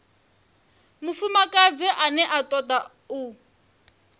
mufumakadzi ane a toda u